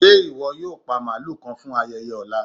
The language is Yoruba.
Ṣẹ́ iwọ yóò pa màlú kàn fún ayẹyẹ ọlá?